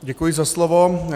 Děkuji za slovo.